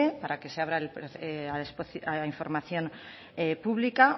para que se abra a información pública